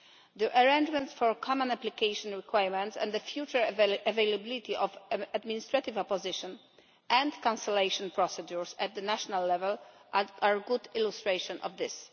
The arrangements for common application requirements and the future availability of administrative opposition and cancellation procedures at national level are a good illustration of this.